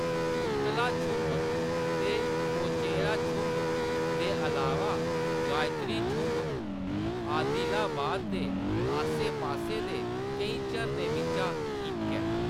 कुंतला छुंभ ते पोचेरा छुंभ दे अलावा गायत्री छुंभ आदिलाबाद दे आस्सै-पास्सै दे केईं झरनें बिच्चा इक ऐ।